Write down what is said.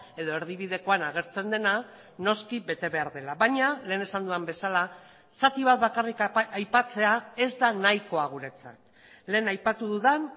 edo erdibidekoan agertzen dena noski bete behar dela baina lehen esan dudan bezala zati bat bakarrik aipatzea ez da nahikoa guretzat lehen aipatu dudan